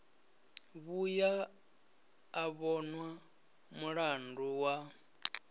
vhuya a vhonwa mulandu wa